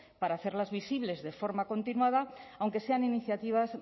para hacerlas visibles de forma continuada aunque sean iniciativas